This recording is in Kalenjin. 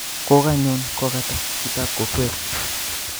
Kokonyon kokatan chitab kokwet